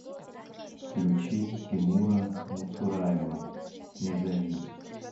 включи тимура муцураева не зови